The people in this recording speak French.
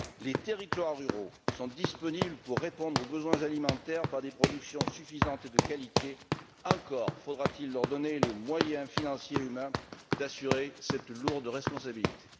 Les territoires ruraux sont disponibles pour répondre aux besoins alimentaires par des productions suffisantes et de qualité, encore faudra t il leur donner les moyens financiers et humains d'assumer cette lourde responsabilité.